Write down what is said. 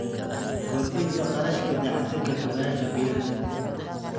Kordhinta kharashka dayactirka kaabayaasha biyaha.